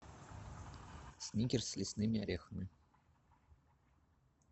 сникерс с лесными орехами